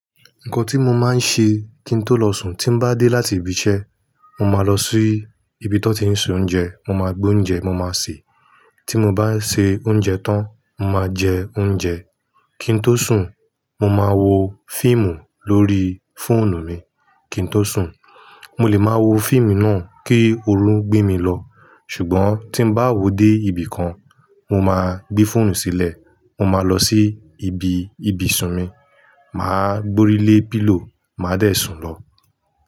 Nkan tí mo máa ń ṣe kí n tó lọ sùn, tín bá dé láti ibi iṣẹ́, mo máa lọ sí ibi tí wọ́n ti ń se oúnjẹ. Mo máa gbé oúnjẹ mo máa se. Tí mo bá ṣe oúnjẹ tán, mo máa jẹ oúnjẹ. Kí n tó sùn, mo máa wo fíìmù lórí fóònù mi. Kí n tó sùn, mo lè máa wo fíìmù náà kí orun gbé mi lọ. Ṣùgbọ́n tín bá wó dé ibì kan, mo máa gbé fóònù sílẹ̀. Mo máa lọ sí ibi ibùsùn mi, màá gbórí lé pílò, màá dẹ̀ sùn lọ.